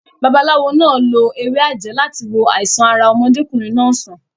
Babaláwo náà lo ewé àjẹ́ láti wo àìsàn ara ọmọdékùnrin náà sàn.